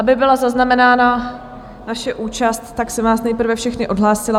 Aby byla zaznamenána naše účast, tak jsem vás nejprve všechny odhlásila.